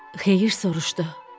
Xeyir soruşdu.